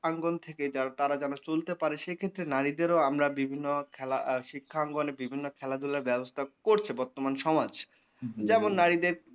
আঙ্গণ থেকে যারা তারা যেনো চলতে পারে সেক্ষেত্রে নারীদেরও আমরা বিভিন্ন খেলা আর শিক্ষা আঙ্গণে বিভিন্ন খেলা ধুলার ব্যাবস্থা করছে বর্তমান সমাজ। যেমন নারীদের